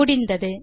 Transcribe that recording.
முடிந்தது